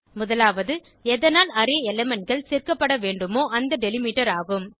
முதலாவது எதனால் அரே elementகள் சேர்க்கப்பட வேண்டுமோ அந்த டெலிமிட்டர் ஆகும்